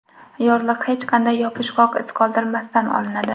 Yorliq hech qanday yopishqoq iz qoldirmasdan olinadi.